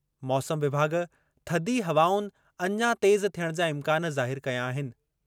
मौसम विभाॻु थधी हवाउनि अञा तेज़ थियणु जा इम्कान ज़ाहिरु कया आहिनि।